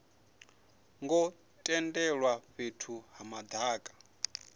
ngo tendelwa fhethu ha madaka